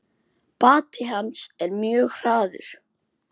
Bati hans er mjög hraður.